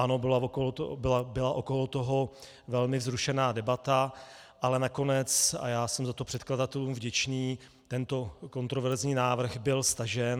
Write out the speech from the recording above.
Ano, byla okolo toho velmi vzrušená debata, ale nakonec - a já jsem za to předkladatelům vděčný - tento kontroverzní návrh byl stažen.